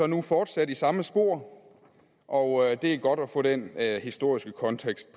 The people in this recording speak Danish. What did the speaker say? nu fortsat i samme spor og det er godt at få den historiske kontekst